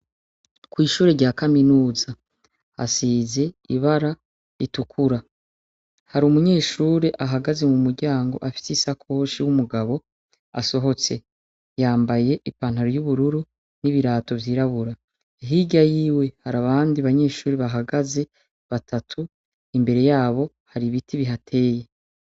Kw'ishuri rya kaminuza hasize ibara ritukura, hari umunyeshuri ahagaze mu muryango afise isakoshi w'umugabo asohotse, yambaye ipantaro y'ubururu n'ibirato vyirabura, hirya yiwe hari abandi banyeshuri bahagaze batatu imbere yabo hari ibiti bihateye.